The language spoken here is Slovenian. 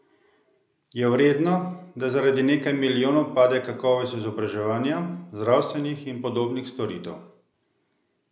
Je vredno, da zaradi nekaj milijonov pade kakovost izobraževanja, zdravstvenih in podobnih storitev?